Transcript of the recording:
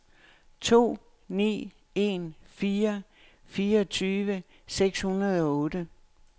to ni en fire fireogtyve seks hundrede og otte